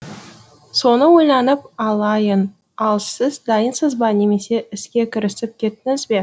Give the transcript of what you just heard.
соны ойланып алайын ал сіз дайынсыз ба немесе іске кірісіп кеттіңіз бе